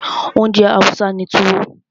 Oúnjẹ Hausa ni Tuwo.